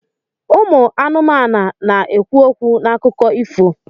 Ụmụ anụmanụ na-ekwu okwu n'akụkọ ifo.